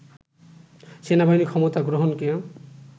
সেনাবাহিনীর ক্ষমতা গ্রহণকে